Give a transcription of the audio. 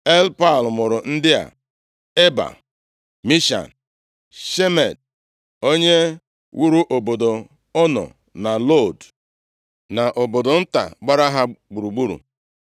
Elpaal mụrụ ndị a: Eba, Misham, Shemed (onye wuru obodo Ono na Lod, na obodo nta gbara ha gburugburu).